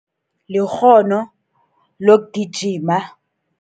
Likghono lokugijima.